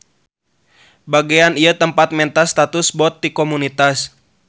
Bagean ieu tempat menta status bot ti komunitas.